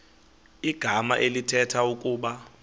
igama elithetha ukuba